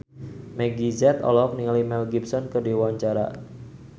Meggie Z olohok ningali Mel Gibson keur diwawancara